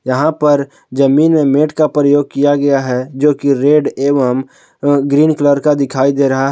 यहां पर जमीन में मैट का प्रयोग किया गया है जो की रेड एवं ग्रीन कलर का दिखाई दे रहा है।